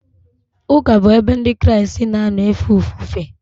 Ụka bụ ebe Ndị Kraịst na-anọ efe ofufe.